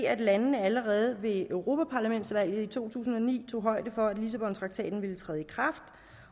at landene allerede ved europaparlamentsvalget i to tusind og ni tog højde for at lissabontraktaten ville træde i kraft